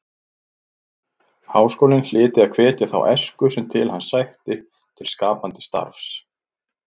Háskólinn hlyti að hvetja þá æsku sem til hans sækti til skapandi starfs.